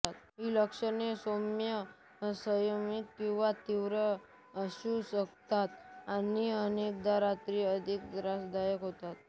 हि लक्षणे सौम्य संयमित किंवा तीव्र असु शकतात आणि अनेकदा रात्री अधिक त्रासदायक होतात